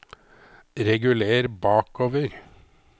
reguler bakover